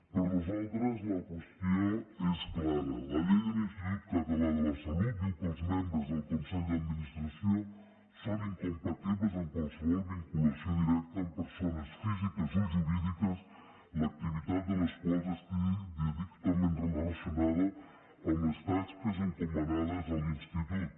per nosaltres la qüestió és clara la llei de l’institut català de la salut diu que els membres del consell d’administració són incompatibles amb qualsevol vinculació directa amb persones físiques o jurídiques l’activitat de les quals estigui directament relacionada amb les tasques encomanades a l’institut